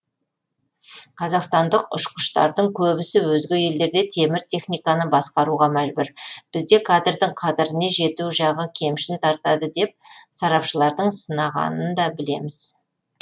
қазақстандық ұшқыштардың көбісі өзге елдерде темір техниканы басқаруға мәжбүр бізде кадрдің қадіріне жету жағы кемшін тартады деп сарапшылардың сынағанында білеміз